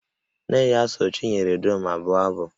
Nne ya so Chinyere Udoma bụọ abụ